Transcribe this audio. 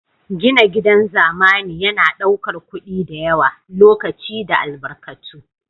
Gina gidan zamani yana ɗaukar kuɗi da yawa, lokaci da albarkatu